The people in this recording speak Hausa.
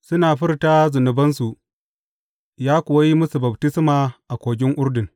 Suna furta zunubansu, ya kuwa yi musu baftisma a Kogin Urdun.